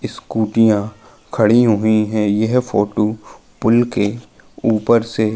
स्कूटियाँ खड़ी हुई है यह फोटो पुल के ऊपर से --